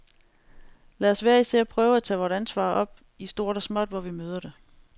Lad os hver især prøve at tage vort ansvar op i stort og småt, hvor vi møder det.